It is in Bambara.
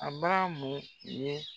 A ba mun ye